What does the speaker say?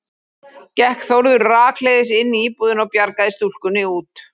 Gekk Þórður rakleiðis inn í íbúðina og bjargaði stúlkunni út.